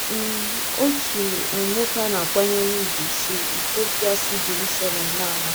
um OTU um NWOKE a na-akwanyere ùgwù si Itiopia si Jeruselem na-ala.